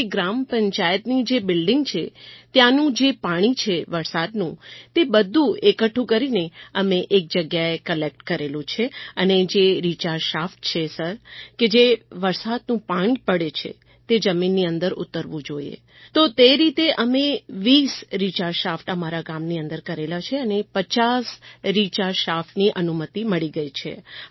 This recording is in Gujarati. અમારી ગ્રામ પંચાયતની જે બિલ્ડિંગ છે ત્યાંનું જે પાણી છે વરસાદનું તે બધું એકઠું કરીને અમે એક જગ્યાએ કલેક્ટ કરેલું છે અને જે રિચાર્જ શાફ્ટ છે સર કે જે વરસાદનું પાણી જે પડે છે તે જમીનની અંદર ઉતરવું જોઈએ તો તે રીતે અમે 2૦ રિચાર્જ શાફ્ટ અમારા ગામની અંદર કરેલા છે અને 5૦ રિચાર્જ શાફ્ટની અનુમતિ મળી ગઈ છે